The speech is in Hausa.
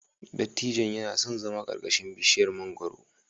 Dattijon yana son zama ƙarƙashin bishiyar mangwaro.